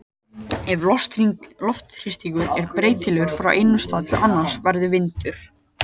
Ef loftþrýstingur er breytilegur frá einum stað til annars verður vindur.